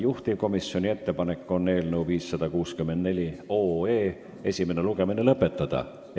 Juhtivkomisjoni ettepanek on eelnõu 564 esimene lugemine lõpetada.